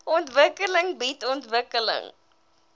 ontwikkeling bied ontwikkeling